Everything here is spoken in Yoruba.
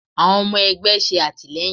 Àwọn ọmọ ẹgbẹ́ ṣe àtìlẹ́yìn.